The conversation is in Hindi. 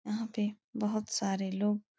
यहाँ पे बहोत सारे लोग --